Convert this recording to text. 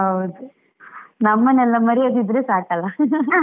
ಹೌದು, ನಮ್ಮನ್ನೆಲ್ಲ ಮರೆಯದಿದ್ರೆ ಸಾಕಲ್ಲ .